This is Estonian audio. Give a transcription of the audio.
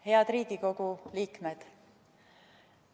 Head Riigikogu liikmed!